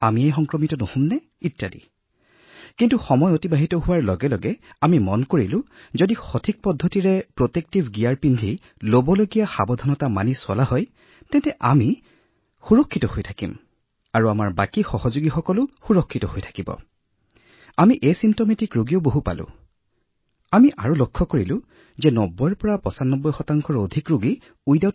আমাৰ সংক্ৰমণ নহয়তো কিন্তু আমি এইটোও দেখিছিলো যে যদি আমি সম্পূৰ্ণৰূপে পৰিধান কৰা সুৰক্ষামূলক গীয়েৰৰ পদক্ষেপসমূহ কাৰ্যকৰী কৰো তেতিয়া আমি সুৰক্ষিত থাকিব পাৰো আৰু আমাৰ বাকী কৰ্মচাৰীসকলেও সুৰক্ষিত থাকিব পাৰে আৰু লগতে আমি দেখিছিলো যে কিছুমান ৰোগী এনে আছিল যি লক্ষণহীন আছিল যাৰ ৰোগৰ কোনো লক্ষণ নাছিল